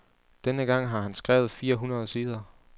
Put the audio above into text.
Denne gang har han skrevet fire hundrede sider.